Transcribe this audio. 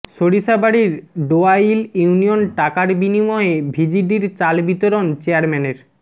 সরিষাবাড়ীর Doail union টাকার বিনিময়ে ভিজিডির চাল বিতরণ চেয়ারম্যানের